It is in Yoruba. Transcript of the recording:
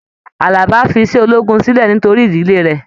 Àlàbá fí iṣẹ ológun sílẹ nítorí ìdílé rẹ.